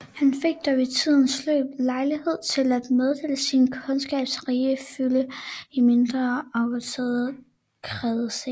Han fik dog i tidens løb lejlighed til at meddele sin kundskabs rige fylde i mindre afgrænsede kredse